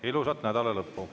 Ilusat nädalalõppu!